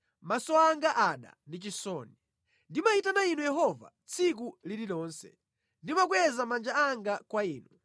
maso anga ada ndi chisoni. Ndimayitana Inu Yehova tsiku lililonse; ndimakweza manja anga kwa Inu.